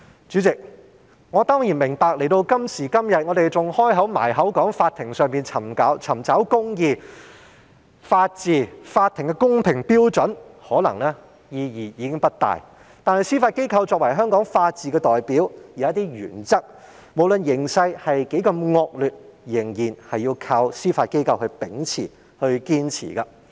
主席，到了今時今日，我明白我們動輒還說在法庭上尋找公義、法治、法庭的公平標準，意義可能已經不大，但司法機構作為香港法治的代表，無論形勢多麼惡劣，有一些原則仍然要靠司法機構秉持、堅持。